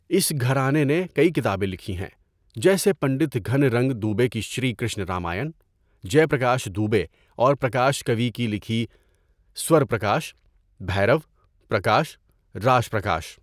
اس گھرانے نے کئی کتابیں لکھی ہیں، جیسے پنڈت گھن رنگ دوبے کی شری کرشن رامائن، جے پرکاش دوبے اور پرکاش کَوی کی لکھی سور پرکاش، بھیرَو، پرکاش، راش پرکاش۔